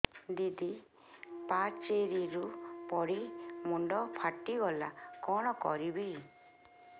ଦିଦି ପାଚେରୀରୁ ପଡି ମୁଣ୍ଡ ଫାଟିଗଲା କଣ କରିବି